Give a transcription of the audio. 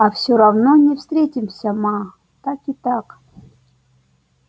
а всё равно не встретимся ма так и так